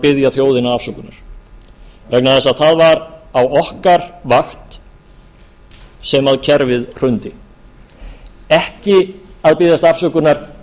biðja þjóðina afsökunar vegna þess að það var á okkar vakt sem kerfið hrundi ekki að biðjast afsökunar